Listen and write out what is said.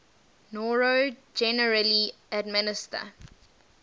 noro generally administer